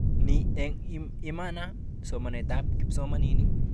Ni, eng imana somanetab kipsomanink